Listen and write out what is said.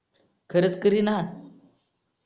खरच करीन हा